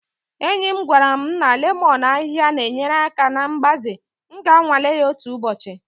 Enyi m gwara m lemon ahịhịa na-enyere aka na mgbaze, m ga-anwale ya otu ụbọchị